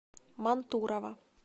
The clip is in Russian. мантурово